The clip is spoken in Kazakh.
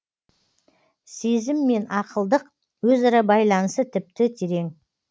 сезім мен ақылдық өзара байланысы тіпті терең